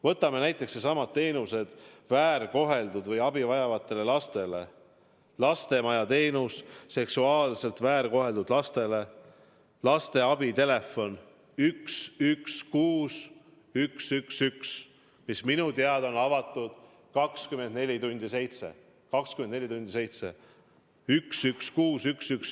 Võtame needsamad teenused väärkoheldud ja muudele abi vajavatele lastele: lastemaja teenus seksuaalselt väärkoheldud lastele, lasteabi telefon 116 111, mis minu teada on avatud 24 tundi seitse päeva nädalas.